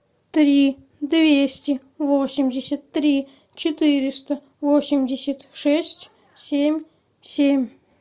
три двести восемьдесят три четыреста восемьдесят шесть семь семь